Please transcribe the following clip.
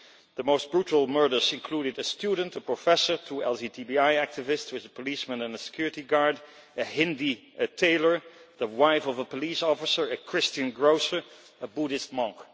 The most brutal murders included a student, a professor, two LGTBI activists, a policeman and a security guard, a Hindu tailor, the wife of a police officer, a Christian grocer and a Buddhist monk.